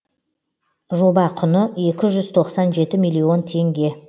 жоба құны екі жүз тоқсан жеті миллион теңге